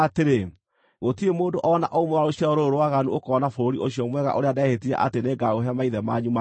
“Gũtirĩ mũndũ o na ũmwe wa rũciaro rũrũ rwaganu ũkoona bũrũri ũcio mwega ũrĩa ndehĩtire atĩ nĩngaũhe maithe manyu ma tene,